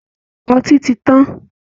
Ọtí ti tán